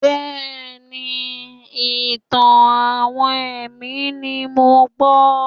Bẹ́ẹ̀ni, ìtàn-àwọn ẹ̀mí ni mò ń gbọ́.